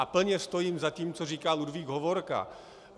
A plně stojím za tím, co říkal Ludvík Hovorka.